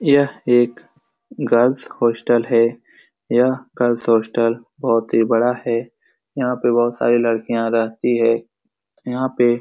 यह एक girls hostel है यह गर्ल्स होस्टल बोहोत ही बड़ा है यहाँ पे बोहोत सारी लडकिया रहती है यहाँ पे --